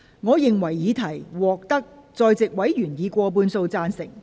我認為議題獲得在席委員以過半數贊成。